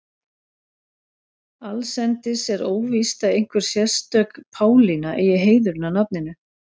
Allsendis er óvíst að einhver sérstök Pálína eigi heiðurinn að nafninu.